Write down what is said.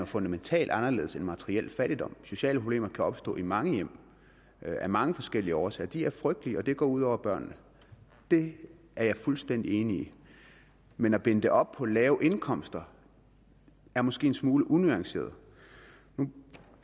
fundamentalt anderledes end materiel fattigdom sociale problemer kan opstå i mange hjem og af mange forskellige årsager de er frygtelige og det går ud over børnene det er jeg fuldstændig enig i men at binde det op på lave indkomster er måske en smule unuanceret nu